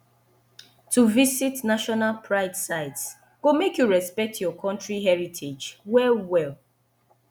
to visit national pride sites go make you respect your country heritage well well